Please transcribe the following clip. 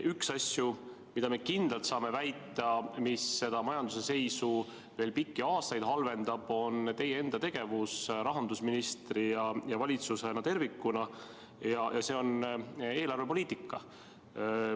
Üks asju, mida me kindlalt saame väita, mis majanduse seisu veel pikki aastaid halvendab, on teie enda tegevus rahandusministrina ja valitsuse kui terviku tegevus eelarvepoliitikas.